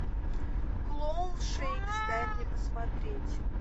клоун шейкс дай мне посмотреть